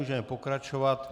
Můžeme pokračovat.